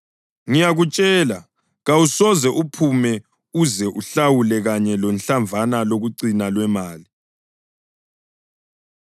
Ngiyakutshela, kawusoze uphume uze uhlawule kanye lohlamvana lokucina lwemali.”